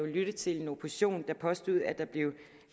lytte til en opposition der påstod at der blev